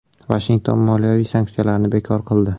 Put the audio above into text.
Vashington moliyaviy sanksiyalarni bekor qildi .